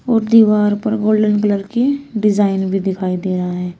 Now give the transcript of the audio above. और दीवार पर गोल्डेन कलर की डिजाइन भी दिखाई दे रहा है।